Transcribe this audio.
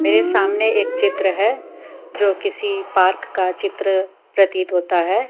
मेरे सामने एक चित्र है जो किसी पार्क का चित्र प्रतीत होता है।